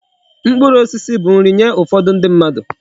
Mkpụrụ osisi bụ nri nye ụfọdụ ndi mmadụ.